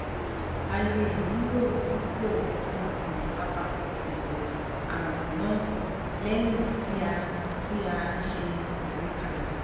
a lè nílò yípo oògùn apakòkòrò àrùn náà lẹyìn tí à ń tí à ń ṣe àgbékalẹ